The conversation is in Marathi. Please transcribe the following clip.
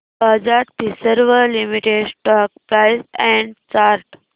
Bajaj Finserv limited stock price and chart